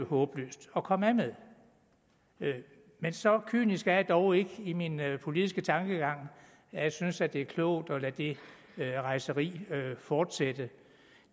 håbløst at komme af med men så kynisk er jeg dog ikke i min politiske tankegang at jeg synes det er klogt at lade det rejseri fortsætte